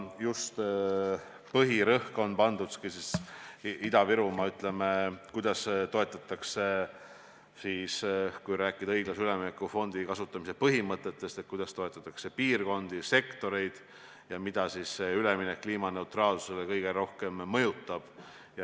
Põhirõhk on pandud Ida-Virumaale, et kuidas toetatakse – kui rääkida õiglase ülemineku fondi kasutamise põhimõtetest – piirkondi ja sektoreid, mida kliimaneutraalsusele üleminek kõige rohkem mõjutab.